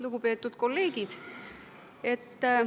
Lugupeetud kolleegid!